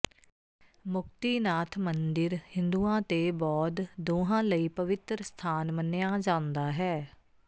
ਮੁਕਤੀਨਾਥ ਮੰਦਿਰ ਹਿੰਦੁਆਂ ਤੇ ਬੌਧ ਦੋਹਾਂ ਲਈ ਪਵਿੱਤਰ ਸਥਾਨ ਮੰਨਿਆ ਜਾਂਦਾ ਹੈ